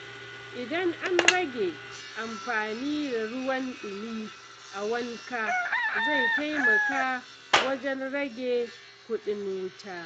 Idan an rage amfani da ruwan ɗumi a wanka, zai taimaka wajen rage kuɗin wuta.